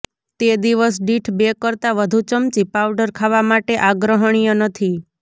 તે દિવસ દીઠ બે કરતાં વધુ ચમચી પાવડર ખાવા માટે આગ્રહણીય નથી